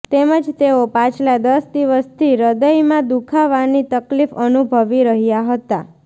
તેમજ તેઓ પાછલા દસ દિવસથી હૃદયમાં દુખાવાની તકલીફ અનુભવી રહ્યા હતા